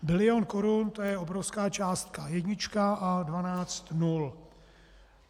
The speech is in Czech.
Bilion korun, to je obrovská částka, jednička a dvanáct nul.